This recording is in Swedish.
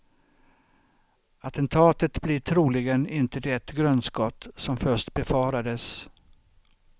Attentatet blir troligen inte det grundskott som först befarades.